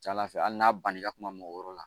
Ca ala fɛ hali n'a banna i ka kuma mɔgɔ wɛrɛ la